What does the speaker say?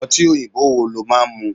Ọtí òyìnbó wo lo máa ń mu?